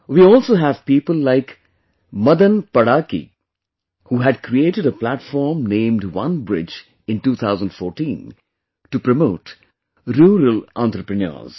We also have people like Madan Padaaki who had created a platform named OneBridge in 2014 to promote rural entrepreneurs